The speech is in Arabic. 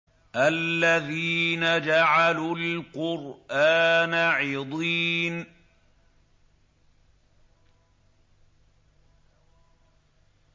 الَّذِينَ جَعَلُوا الْقُرْآنَ عِضِينَ